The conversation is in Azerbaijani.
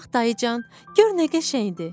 Bir bax dayıcan, gör nə qəşəngdir!